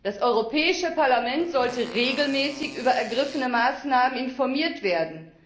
Das Europäische Parlament sollte regelmäßig über ergriffene Maßnahmen informiert werden.